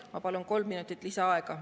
Ma palun kolm minutit lisaaega.